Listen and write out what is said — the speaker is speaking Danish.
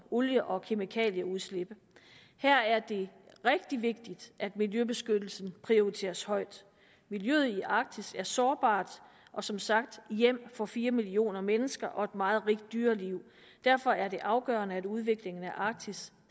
olie og kemikalieudslip og her er det rigtig vigtigt at miljøbeskyttelsen prioriteres højt miljøet i arktis er sårbart og som sagt hjem for fire millioner mennesker og et meget rigt dyreliv derfor er det afgørende at udviklingen af arktis